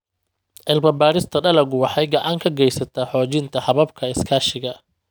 Cilmi-baarista dalaggu waxay gacan ka geysataa xoojinta hababka iskaashiga.